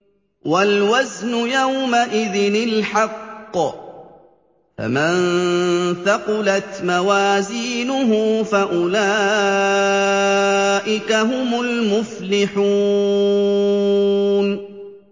وَالْوَزْنُ يَوْمَئِذٍ الْحَقُّ ۚ فَمَن ثَقُلَتْ مَوَازِينُهُ فَأُولَٰئِكَ هُمُ الْمُفْلِحُونَ